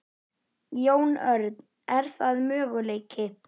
Jón Örn: Er það möguleiki?